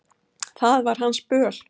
Það var hans böl.